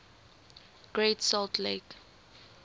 great salt lake